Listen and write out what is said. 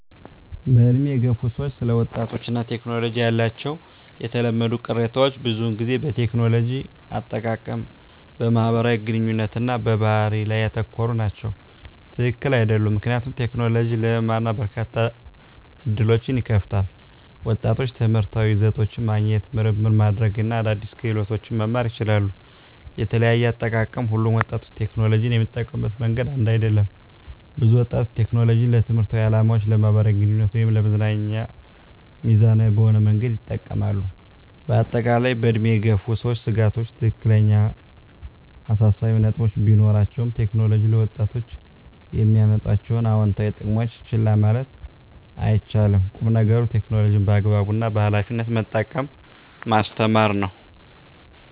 በዕድሜ የገፉ ሰዎች ስለ ወጣቶች እና ቴክኖሎጂ ያላቸው የተለመዱ ቅሬታዎች ብዙውን ጊዜ በቴክኖሎጂ አጠቃቀም፣ በማህበራዊ ግንኙነት እና በባህሪ ላይ ያተኮሩ ናቸው። # ትክክል አይደሉም ምክንያቱም: ቴክኖሎጂ ለመማር እና በርካታ ዕድሎችን ይከፍታል። ወጣቶች ትምህርታዊ ይዘቶችን ማግኘት፣ ምርምር ማድረግ እና አዳዲስ ክህሎቶችን መማር ይችላሉ። * የተለያየ አጠቃቀም: ሁሉም ወጣቶች ቴክኖሎጂን የሚጠቀሙበት መንገድ አንድ አይደለም። ብዙ ወጣቶች ቴክኖሎጂን ለትምህርታዊ ዓላማዎች፣ ለማኅበራዊ ግንኙነት እና ለመዝናኛ ሚዛናዊ በሆነ መንገድ ይጠቀማሉ። በአጠቃላይ፣ በዕድሜ የገፉ ሰዎች ስጋቶች ትክክለኛ አሳሳቢ ነጥቦች ቢኖራቸውም፣ ቴክኖሎጂ ለወጣቶች የሚያመጣቸውን አዎንታዊ ጥቅሞች ችላ ማለት አይቻልም። ቁም ነገሩ ቴክኖሎጂን በአግባቡ እና በኃላፊነት መጠቀምን ማስተማር ነው።